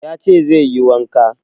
Ya ce sai anjima zai yi wanka